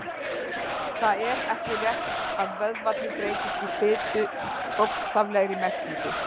Það er ekki rétt að vöðvarnir breytist í fitu í bókstaflegri merkingu.